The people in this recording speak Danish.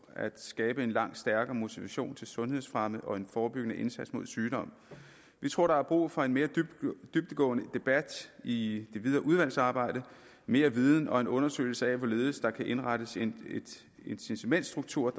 at skabe en langt stærkere motivation til sundhedsfremme og en forebyggende indsats mod sygdom vi tror der er brug for en mere dybdegående debat i det videre udvalgsarbejde mere viden og en undersøgelse af hvorledes der kan indrettes en incitamentsstruktur